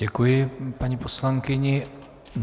Děkuji paní poslankyni.